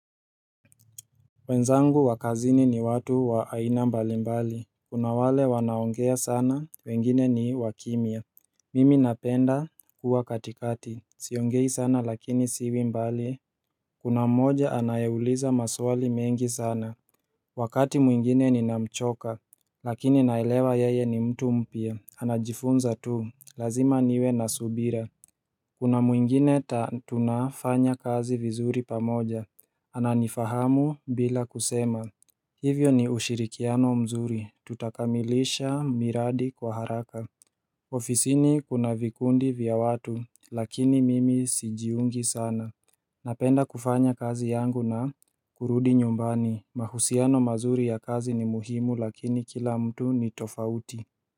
Wenzangu wa kazini ni watu wa aina mbali mbali Kuna wale wanaongea sana, wengine ni wa kimya Mimi napenda kuwa katikati, siongei sana lakini siwi mbali Kuna mmoja anayeuliza maswali mengi sana Wakati mwingine ninamchoka Lakini naelewa yeye ni mtu mpya, anajifunza tu, lazima niwe na subira Kuna mwingine ta tunafanya kazi vizuri pamoja Ananifahamu bila kusema Hivyo ni ushirikiano mzuri, tutakamilisha miradi kwa haraka ofisini kuna vikundi vya watu, lakini mimi sijiungi sana Napenda kufanya kazi yangu na kurudi nyumbani, mahusiano mazuri ya kazi ni muhimu lakini kila mtu ni tofauti.